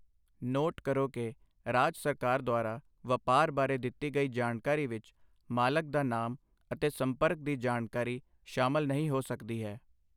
Note ਕਰੋ ਕਿ, ਰਾਜ ਸਰਕਾਰ ਦੁਆਰਾ ਵਪਾਰ ਬਾਰੇ ਦਿੱਤੀ ਗਈ ਜਾਣਕਾਰੀ ਵਿੱਚ ਮਾਲਕ ਦਾ ਨਾਮ ਅਤੇ ਸੰਪਰਕ ਦੀ ਜਾਣਕਾਰੀ ਸ਼ਾਮਲ ਨਹੀਂ ਹੋ ਸਕਦੀ ਹੈ।